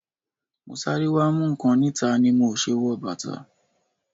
Mo sáré wá mú nǹkan níta ni mo o ṣe wọ bàtà.